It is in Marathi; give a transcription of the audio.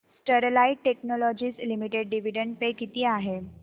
Sterlite technologies limited dividend pay किती आहे